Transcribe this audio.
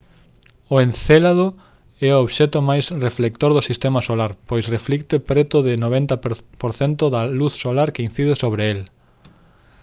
o encélado é o obxecto máis reflector do sistema solar pois reflicte preto do 90 % da luz solar que incide sobre el